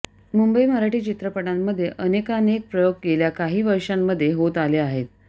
मुंबई मराठी चित्रपटांमध्ये अनेकानेक प्रयोग गेल्या काही वर्षांमध्ये होत आले आहेत